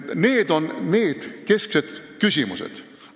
Need on need kesksed küsimused.